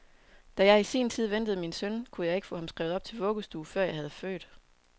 Da jeg i sin tid ventede min søn, kunne jeg ikke få ham skrevet op til vuggestue, før jeg havde født.